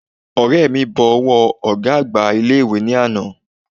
Ọ̀rẹ́ mi bọ ọwọ́ ọ̀gá àgbà ilé ìwé ní àná